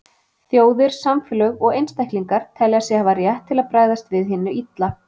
Þjóðir, samfélög og einstaklingar telja sig hafa rétt til að bregðast við hinu illa.